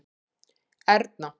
Erna